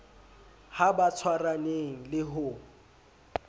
ha ba tshwaraneng le ho